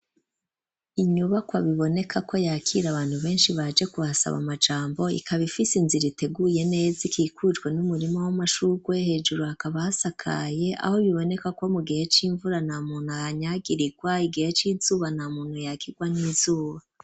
Inyubakwa biboneka ko yakire abantu beshi baje kuhasaba amajambo ikaba ifise inzira iteguye neza ikikujwe n'umurima w'amashurwe hejuru hakaba hasakaye aho biboneka ko mugihe c'imvura ntamuntu ahanyagirirwa igihe c'izuba ntamuntu yakigwa n'izuba.